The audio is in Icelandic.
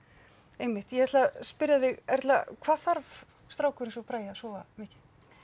einmitt ég ætla að spyrja þig Erla hvað þarf strákur eins og Bragi að sofa mikið